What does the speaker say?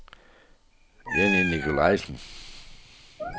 Jenny Nicolaisen